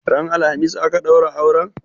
Ran alhamis aka ɗaura auren?